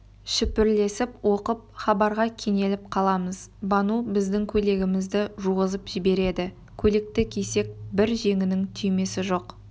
шүпірлесіп оқып хабарға кенеліп қаламыз бану біздің көйлегімізді жуғызып жібереді көйлекті кисек бір жеңінің түймесі жоқ